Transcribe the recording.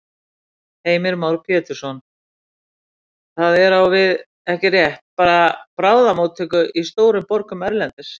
Heimir Már Pétursson: Það er á við, ekki rétt, bara bráðamóttöku í stórum borgum erlendis?